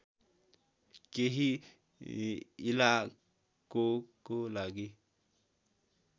केही इलाकोको लागि